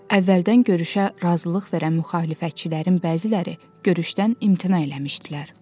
Əvvəldən görüşə razılıq verən müxalifətçilərin bəziləri görüşdən imtina eləmişdilər.